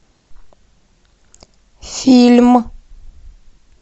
фильм